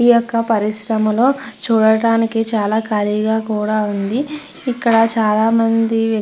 ఈ యొక్క పరిశ్రమలో చూడడానికి చాలా కాలిగా కూడ ఉంది. ఇక్కడ చాలా మంది --